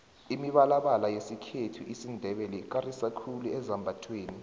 imibalabala yesikhethu isindebele ikarisa khulu ezambathweni